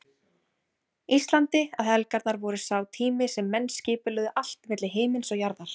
Íslandi að helgarnar væru sá tími sem menn skipulegðu allt milli himins og jarðar.